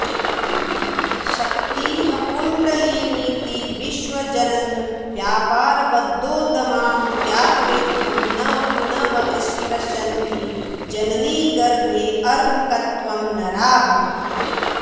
शक्तिः कुण्डलिनीति विश्वजननव्यापारबद्धोद्यमां ज्ञात्वेत्थं न पुनः स्पृशन्ति जननीगर्भेऽर्भकत्वं नराः